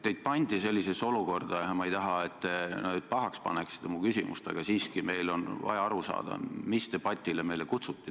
Teid pandi sellisesse olukorda ja palun ärge nüüd pahaks pange mu küsimust, aga siiski meil on vaja aru saada, mis debatile teid meile kutsuti.